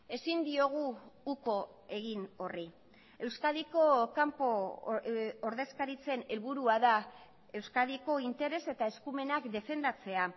ezin diogu uko egin horri euskadiko kanpo ordezkaritzen helburua da euskadiko interes eta eskumenak defendatzea